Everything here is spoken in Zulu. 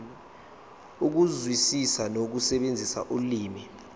ukuzwisisa nokusebenzisa ulimi